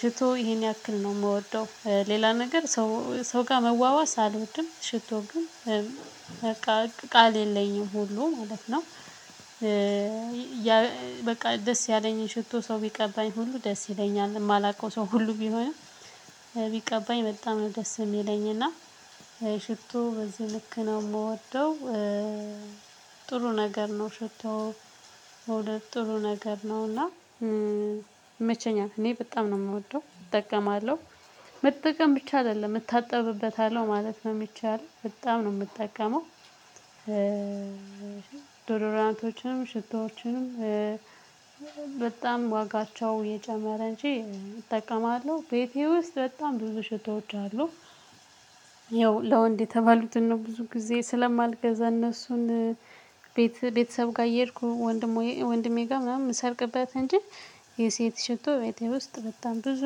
ሽቶ ይሄን ያክል ነው የምወደው። ሌላ ነገር ሰው ሰው ጋር መዋዋስ አልወድም። ሽቶው ግን በቃ ቃል የለኝም ሁሉ ማለት ነው። በቃ ደስ ያለኝን ሽቶ ሰው ቢቀባኝ ሁሉ ደስ ይለኛል የማላውቀው ሰው ሁሉ ቢሆንም። ቢቀባኝ በጣም ደስ የሚለኝና ሽቶ በዚህ ልክ ነው የምወደው። ጥሩ ነገር ነው ሽቶው ሁለት ጥሩ ነገር ነውና። ይመቸኛል እኔ በጣም ነው የምወደው እጠቀማለሁ። መጠቀም ብቻ አይደለም እታጠብበታለሁ ማለት ነው የሚቻለው በጣም ነው የምጠቀመው። ዶድራንቶችንም ሽቶዎችንም። በጣም ዋጋቸው የጀመረ እንጂ እጠቀማለሁ ቤቴ ውስጥ በጣም ብዙ ሽቶዎች አሉ። ይኸው ለወንድ የተባሉትን ነው ብዙ ጊዜ ስለማልገዛ እነሱን ቤት ቤተሰብ ጋር እየሄድኩ። ወንድሜ ጋር ምናምን ሰርቅበት እንጂ። የሴት ሽቶ ቤቴ ውስጥ በጣም ብዙ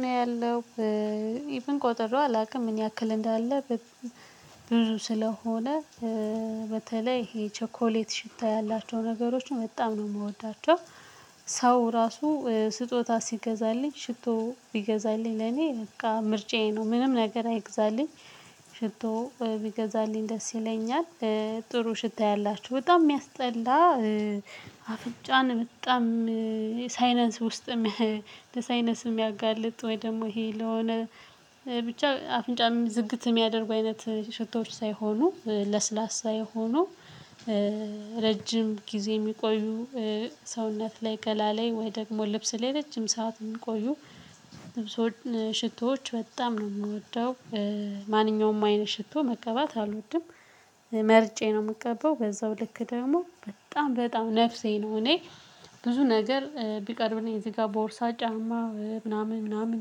ነው ያለው። ኢቭን ቆጥሬው አላውቅም ምን ያክል እንዳለ? ብዙ ስለሆነ። በተለይ ይሄ ቸኮሌት ሽታ ያላቸው ነገሮችን በጣም ነው የምወዳቸው። ሰው ራሱ ስጦታ ሲገዛልኝ ሽቶ ቢገዛልኝ ለኔ በቃ ምርጫዬ ነው ምንም ነገር አይግዛልኝ። ሽቶ ቢገዛልኝ ደስ ይለኛል። ጥሩ ሽታ ያላቸው በጣም የሚያስጠላ አፍንጫን በጣም ሳይነስ ውስጥም ለሳይነስም ያጋልጥ ወይ ደግሞ ይሄ ለሆነ ብቻ አፍንጫ ዝግት የሚያደርጉ አይነት ሽቶች ሳይሆኑ ለስላሳ የሆኑ። ረጅም ጊዜ የሚቆዩ። ሰውነት ላይ ገላ ላይ ወይ ደግሞ ልብስ ላይ ረጅም ሰዓት ሚቆዩ። ሽቶዎች በጣም ነው የምወደው። ማንኛውም አይነት ሽቶ መቀባት አልወድም። መርጬ ነው የምገባው በዛው ልክ ደግሞ በጣም በጣም ነፍሴ ነው እኔ። ብዙ ነገር ቢቀርብልኝ እዚህ ጋር ቦርሳ ጫማ ምናምን ምናምን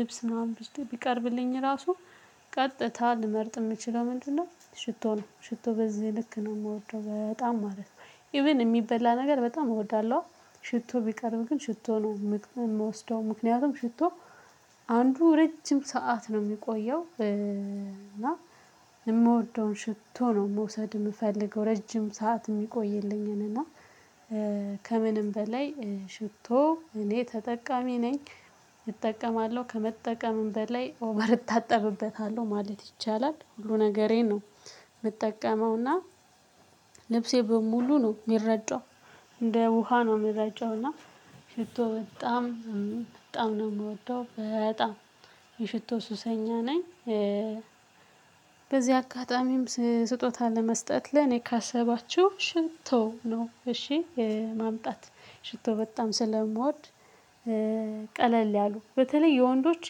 ልብስ ምናምን ውስጥ ቢቀርብልኝ ራሱ። ቀጥታ ልመርጥ የምችለው ምንድነው? ሽቶ ነው ሽቶ በዚህ ልክ ነው የምወደው በጣም ማለት ነው። ኢቭን የሚበላ ነገር በጣም እወዳለሁ። ሽቶ ቢቀርብ ግን ሽቶ ነው የምትወስደው ምክንያቱም ሽቶ። አንዱ ረጅም ሰዓት ነው የሚቆየው እና። የምወደውን ሽቶ ነው መውሰድ የምፈልገው ረጅም ሰዓት የሚቆይልኝን እና። ከምንም በላይ ሽቶ እኔ ተጠቃሚ ነኝ። እጠቀማለሁ ከመጠቀምም በላይ ኦቨር እታጠብበታለሁ ማለት ይቻላል ሁሉ ነገሬን ነው። የምጠቀመውና ልብሴ በሙሉ ነው የሚረጨው። እንደ ውሃ ነው የሚረጨው እና ሽቶ በጣም በጣም ነው የምወደው በጣም የሽቶ ሱሰኛ ነኝ። በዚህ አጋጣሚም ስጦታ ለመስጠት ለኔ ካሰባችሁ ሽቶ ነው እሺ የማምጣት ሽቶ በጣም ስለምወድ። ቀለል ያሉ በተለይ የወንዶች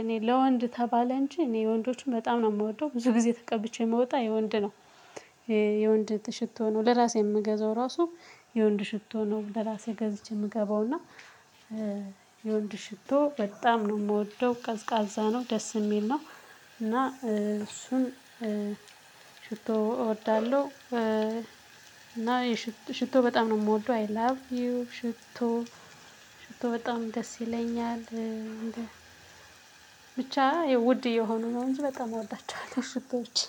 እኔ ለወንድ ተባለ እንጂ እኔ የወንዶቹን በጣም ነው የምወደው ብዙ ጊዜ ተቀብቼ ምወጣው የወንድ ነው። የወንድ ሽቶ ነው ለራሴ የምገዛው ራሱ የወንድ ሽቶ ነው ለራሴ ገዝቼ የምገባውና። የወንድ ሽቶ በጣም ነው የምወደው ቀዝቃዛ ነው ደስ የሚል ነው። እና እሱን ሽቶ እወዳለሁ። እና ሽቶ በጣም ነው የምወደው አይ ላቭ ዩ ሽቶ። ሽቶ በጣም ደስ ይለኛል እንደ። ብቻ ውድ እየሆኑ ነው እንጂ በጣም እወዳቸዋለሁ ሽቶዎች